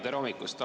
Tere hommikust!